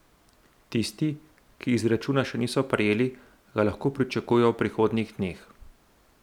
Tisti, ki izračuna še niso prejeli, ga lahko pričakujejo v prihodnjih dneh.